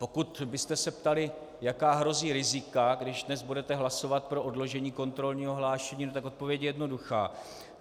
Pokud byste se ptali, jaká hrozí rizika, když dnes budete hlasovat pro odložení kontrolního hlášení, tak odpověď je jednoduchá.